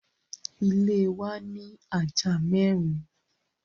Ile wa ni aja mẹrin